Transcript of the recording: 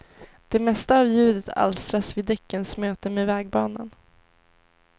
Det mesta av ljudet alstras vid däckens möte med vägbanan.